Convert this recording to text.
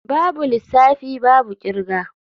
Babu lissafi babu kirga.